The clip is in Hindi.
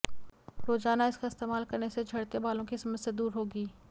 रोजाना इसका इस्तेमाल करने से झड़ते बालों की समस्या दूर होगी